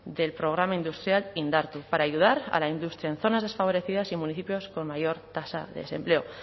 del programa industrial indartu para ayudar a la industria en zonas desfavorecidas y municipios con mayor tasa de desempleo